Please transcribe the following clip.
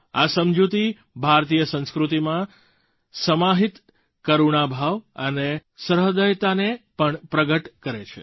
આ સમજૂતી ભારતીય સંસ્કૃતિમાં સમાહિત કરુણાભાવ અને સહૃદયતાને પણ પ્રગટ કરે છે